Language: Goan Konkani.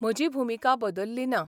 म्हजी भुमिका बदलली ना.